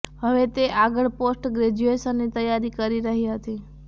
હવે તે આગળ પોસ્ટ ગ્રેજ્યુએશનની તૈયારી કરી રહી હતી